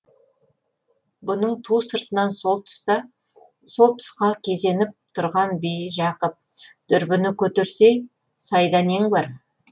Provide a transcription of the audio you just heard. бұның ту сыртынан сол тұсқа кезеніп тұрған бижақып дүрбіні көтерсей сайда нең бар